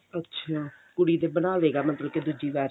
ਅੱਛਿਆ ਕੁੜੀ ਦੇ ਬਣਾਵੇਗਾ ਦੁੱਜੀ ਵਾਰ ਚ